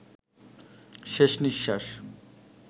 শেষ নিঃশ্বাস